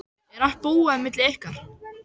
Er allt búið á milli ykkar?